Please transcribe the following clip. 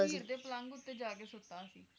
ਉਹ ਹੀਰ ਦੇ ਪਲੰਘ ਉੱਤੇ ਜਾ ਕੇ ਸੁੱਤਾ ਸੀ